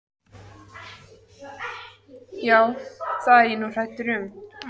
Já, það er ég nú hræddur um.